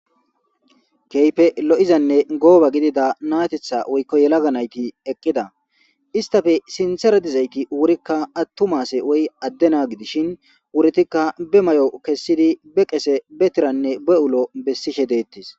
Keyipe lo'izanne gooba gidida natetha woykko yelaga nayti eqqida istafe sintera dizayti wurikka attumaase woy addena gidishin wuritikka be mayo kessidi be qese betiranne be'ulo bessishe deettis